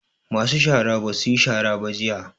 Masu shara ba su yi shara ba jiya